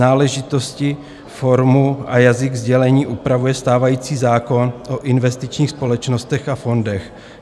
Náležitosti, formu a jazyk sdělení upravuje stávající zákon o investičních společnostech a fondech.